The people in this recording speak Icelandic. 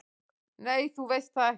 """Nei, þú veist það ekki."""